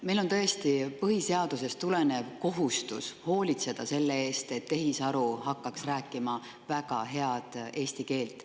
Meil on tõesti põhiseadusest tulenev kohustus hoolitseda selle eest, et tehisaru hakkaks rääkima väga head eesti keelt.